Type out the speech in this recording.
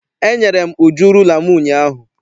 Enyere m Uju rula m ụnyaahụ.